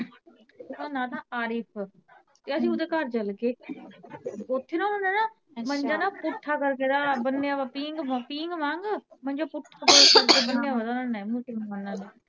ਉਦਾ ਨਾਂ ਸੀ ਆਰਿਫ਼ ਯਰ ਅਸੀਂ ਓਦੇ ਘਰ ਚਲੇ ਗੇ ਓਥੇ ਨਾ ਉਨ੍ਹਾਂ ਦਾ ਮੰਜਾ ਪੁੱਠਾ ਕਰ ਕੇ ਬੰਨਿਆ ਹੋਇਆ ਪੀਂਘ ਵਾਂਗ ਮੰਜਾ ਪੁੱਠਾ ਕਰ ਕੇ ਬੰਨਿਆ ਹੋਇਆ